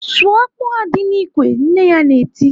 "Sụọ akpụ ahụ dị n'ikwe!" Nne ya na-eti.